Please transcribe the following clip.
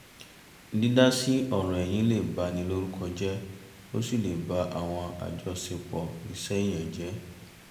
dídá sí ọ̀rọ̀ ẹ̀yin lè ba ni lórúko jẹ́ ó sì lè bá àwọn àjọṣepọ̀ iṣẹ́ èèyàn jẹ́